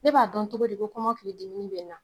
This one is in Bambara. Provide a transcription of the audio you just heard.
Ne b'a dɔn togo di ko kɔmɔkili dimi ni bɛ n na ?